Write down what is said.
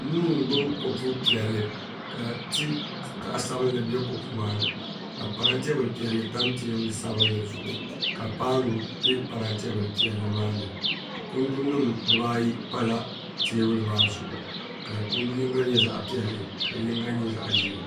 Nuu n gbubi kopu piɛlli ka tii zaɣ sabinli bɛ kopu maa ni ka parantɛ bili piɛlli tam teebuli sabinli ziɣu ka paanu bɛ parantɛ bili piɛlli maa ni kindi nim dibaayi pala teebuli maa zuɣu ka kundu yinga nyɛ zaɣ piɛlli ka yinga nyɛ zaɣ ʒiɛ